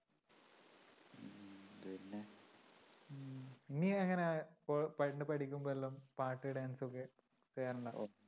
നീ എങ്ങനെയാ ഇപ്പൊ പണ്ട് പഠിക്കുമ്പോഴെല്ലാം പാട്ട് dance ഒക്കെ ചെയ്യാറുണ്ടോ?